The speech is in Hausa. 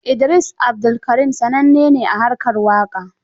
Idris Abdulkarim sananne ne a harkar waƙa.